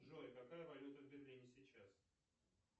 джой какая валюта в берлине сейчас